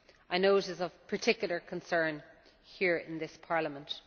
I know it is of particular concern here in this Parliament.